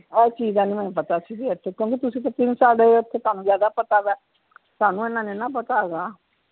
ਆਹ ਚੀਜਾ ਦਾ ਨੀ ਮੈਨੂੰ ਪਤਾ ਸੀ ਬਈ ਇਥੇ ਤੁਸੀ ਤਿੰਨ ਸਾਲ ਉਥੇ ਤੁਹਾਨੂੰ ਜਿਆਦਾ ਪਤਾ ਵਾ ਸਾਨੂੰ ਇੰਨਾ ਨੀ ਨਾ ਪਤਾ ਹੈਗਾ